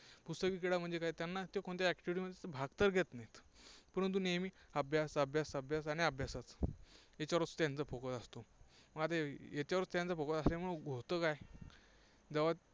पुस्तकी किडा म्हणजे काय त्यांना कोणत्या activity भाग तर घेत नाहीत. परंतु नेहमी अभ्यास, अभ्यास आणि अभ्यास असतो. त्याच्यावर त्यांचा Focus असतो. मग आता याच्यावरच त्यांचा Focus असल्यामुळे होतं काय, जेव्हा